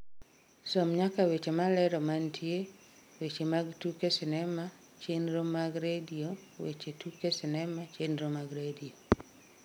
som nyaka weche malero mantie weche mag tuke sinema chenro mag redio weche tuke sinema chenro mag redio